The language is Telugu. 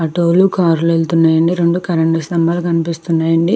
ఆటో లు కార్లు వెళ్తున్నాయండి. రెండు కరెంటు స్తంభాలు కనిపిస్తున్నాయి అండి.